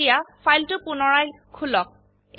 এতিয়া ফাইলটো পুনৰায় খুলক